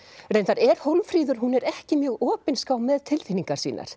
reyndar er Hólmfríður hún er ekki mjög opinská með tilfinningar sínar